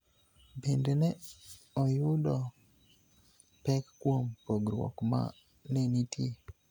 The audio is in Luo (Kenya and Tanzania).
bende ne oyudo pek kuom pogruok ma ne nitie